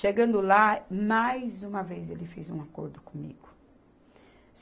Chegando lá, mais uma vez ele fez um acordo comigo.